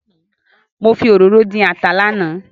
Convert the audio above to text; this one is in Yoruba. Mo fi òróró dín ata lánàá